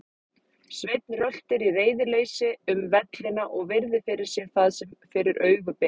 Sveinn röltir í reiðileysi um vellina og virðir fyrir sér það sem fyrir augu ber.